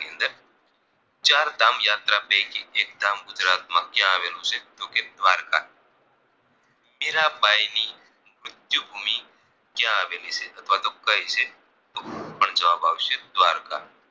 ચારધામ યાત્રા પૈકી એક ધામ ગુજરાત માં ક્યાં આવેલું છે તો કે દ્વારકા મીરાંબાઈ ની મૃત્યુ ભૂમિ ક્યાં આવેલી છે અથવા તો કઈ છે તો પણ જવાબ આવશે દ્વારકા